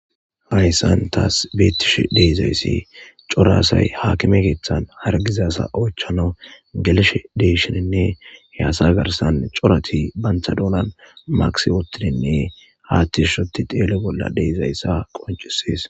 Hayssan taas beettish deizayssi corasay haakime keeththan hargizasa oychano gelshe deshininne he asa garsan corati banthadoolan maqisi wottininne haathtishoti xeele bolla deizayssa qoncisees.